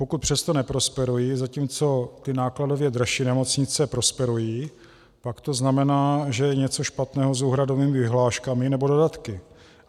Pokud přesto neprosperují, zatímco ty nákladově dražší nemocnice prosperují, pak to znamená, že je něco špatného s úhradovými vyhláškami nebo dodatky.